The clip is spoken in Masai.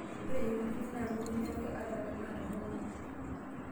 Ore ng"utunyi naa ng'utunyi ake ata tenaa toronok.